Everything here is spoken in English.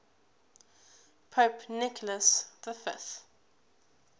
pope nicholas v